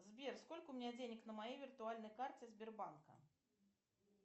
сбер сколько у меня денег на моей виртуальной карте сбербанка